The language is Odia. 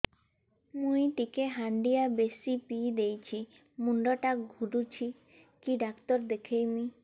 ମୁଇ ଟିକେ ହାଣ୍ଡିଆ ବେଶି ପିଇ ଦେଇଛି ମୁଣ୍ଡ ଟା ଘୁରୁଚି କି ଡାକ୍ତର ଦେଖେଇମି